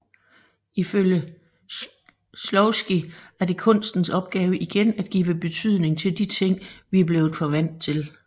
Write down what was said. Ifølge Shklovsky er det kunstens opgave igen at give betydning til de ting vi er blevet for vant til